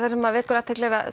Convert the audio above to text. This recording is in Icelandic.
vekur athygli að